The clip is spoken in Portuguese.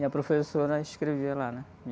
E a professora escrevia lá, né?